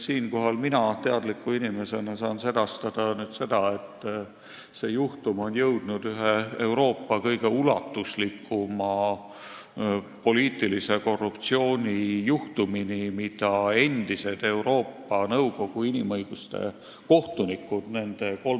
Siinkohal saan mina teadliku inimesena sedastada, et sellest on saanud üks Euroopa ulatuslikumaid poliitilise korruptsiooni juhtumeid, mida endised Euroopa Nõukogu inimõiguste kohtunikud on menetlenud.